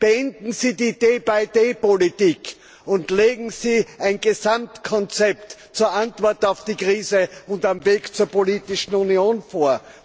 Beenden Sie die day by day Politik, und legen Sie ein Gesamtkonzept zur Antwort auf die Krise und für den Weg zur Politischen Union vor.